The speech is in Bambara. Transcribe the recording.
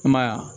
I m'a ya